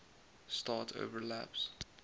start overlaps